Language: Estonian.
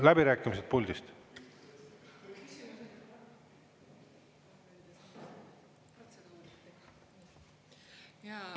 Läbirääkimised puldist!